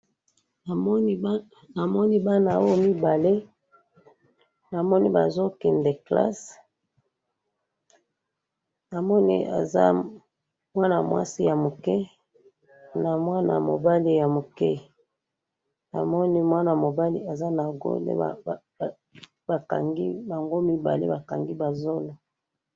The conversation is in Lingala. Namoni bana oyo mibale, namoni bazo kende classe, namoni aza mwana mwasi ya muke na mwana mobali ya muke, namoni mwana mobali aza na gourde, ba kangi, bango mibale ba kangi ba zolo